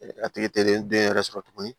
A tigi teri ye den yɛrɛ sɔrɔ tuguni